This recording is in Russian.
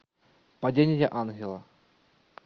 падение ангела